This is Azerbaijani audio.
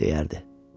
deyərdi.